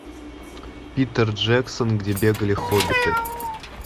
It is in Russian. питер джексон где бегали хоббиты